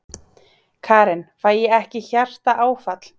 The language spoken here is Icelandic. Karen: Fæ ég ekki hjartaáfall?